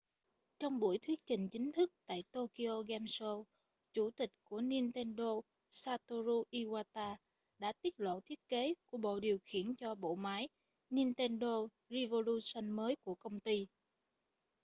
trong buổi thuyết trình chính thức tại tokyo game show chủ tịch của nintendo satoru iwata đã tiết lộ thiết kế của bộ điều khiển cho bộ máy nintendo revolution mới của công ty